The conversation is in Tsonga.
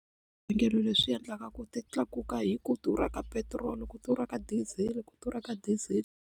leswi endlaka ku ti tlakuka hi ku durha ka petiroli ku durha ka diesel ku durha ka diesel.